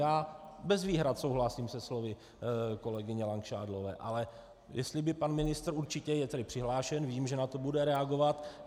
Já bez výhrad souhlasím se slovy kolegyně Langšádlové, ale jestli by pan ministr, určitě je tedy přihlášen, vím, že na to bude reagovat.